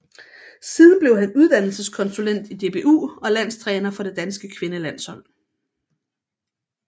Siden blev han uddannelseskonsulent i DBU og landstræner for det danske kvindelandshold